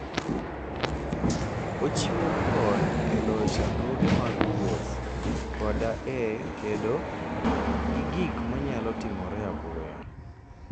Ochiwo kony e loyo chandruoge mag wuoth koda e kedo gi gik manyalo timore apoya.